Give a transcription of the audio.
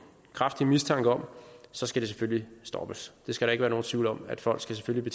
kraftig mistanke om så skal det selvfølgelig stoppes der skal ikke være nogen tvivl om at folk selvfølgelig